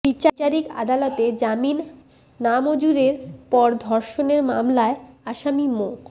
বিচারিক আদালতে জামিন নামঞ্জুরের পর ধর্ষণের মামলায় আসামি মো